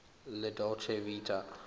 la dolce vita